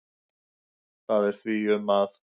Það er því um að